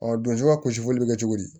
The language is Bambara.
donso ka gosili bɛ kɛ cogo di